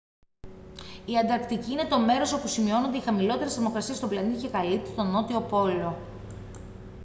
η ανταρκτική είναι το μέρος όπου σημειώνονται οι χαμηλότερες θερμοκρασίες στον πλανήτη και καλύπτει τον νότιο πόλο